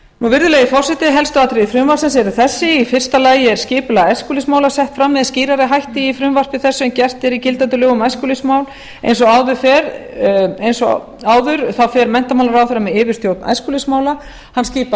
virðulegi forseti helstu atriði frumvarpsins er þessi í fyrsta lagi er skipulag æskulýðsmála er sett fram með skýrari hætti í frumvarpi þessu en gert er í gildandi lögum um æskulýðsmál eins og áður fer menntamálaráðherra með yfirstjórn æskulýðsmála hann skipar